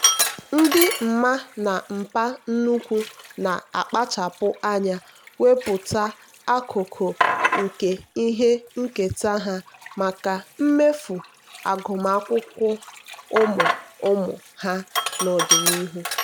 ndị mma na mpa nnukwu na-akpachapụ anya wepụta akụkụ nke ihe nketa ha maka mmefu agụmakwụkwọ ụmụ ụmụ ha n'ọdịnihu.